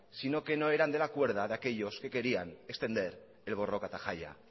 sino que no eran de la cuerda de aquellos que querían extender el borroka eta jaia